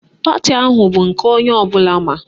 Pati ahụ bụ nke onye ọbụla ma.